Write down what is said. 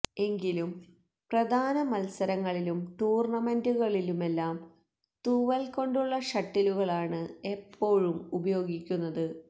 എങ്കിലും പ്രധാന മത്സരങ്ങളിലും ടൂർണമെന്റുകളിലുമെല്ലാം തൂവൽ കൊണ്ടുള്ള ഷട്ടിലുകളാണ് എപ്പോഴും ഉപയോഗിക്കുന്നത്